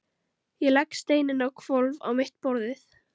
Ég legg steininn á hvolf á mitt borðið.